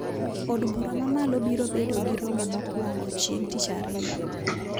Od bura mamalo biro bedo gi romo mokwongo chieng` tich ariyo